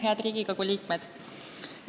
Head Riigikogu liikmed!